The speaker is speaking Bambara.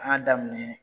An y'a daminɛ